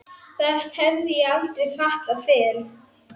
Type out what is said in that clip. Það hef ég aldrei fattað fyrr.